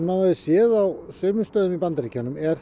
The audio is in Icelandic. höfum séð á sumum stöðum í Bandaríkjunum er